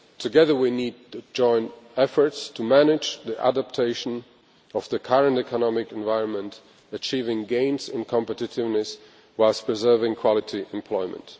Together we need to engage in efforts to manage the adaptation of the current economic environment, achieving gains in competitiveness, whilst preserving quality employment.